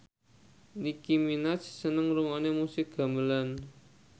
Nicky Minaj seneng ngrungokne musik gamelan